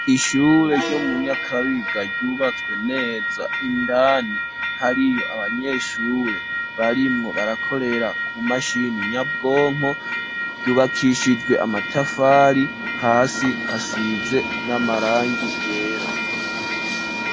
Ishure ryo mu Nyakabiga ryubatswe neza indani hariyo abanyeshure barimwo barakorera ku mashini nyabwonko ryubakishijwe amatafari hasi hasize n'amarangi yera.